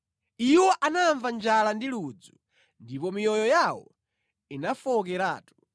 Iwo anamva njala ndi ludzu, ndipo miyoyo yawo inafowokeratu.